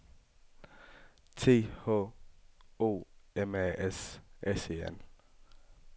T H O M A S S E N